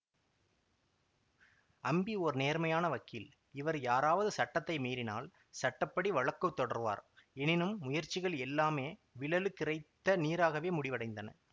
அம்பி ஓர் நேர்மையான வக்கீல் இவர் யாராவது சட்டத்தை மீறினால் சட்ட படி வழக்கு தொடர்வார் எனினும் முயற்சிகள் எல்லாமே விழலுக்கிறைத்த நீராகவே முடிவடைந்தன